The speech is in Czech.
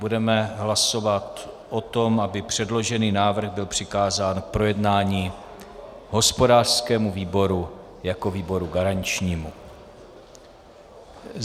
Budeme hlasovat o tom, aby předložený návrh byl přikázán k projednání hospodářskému výboru jako výboru garančnímu.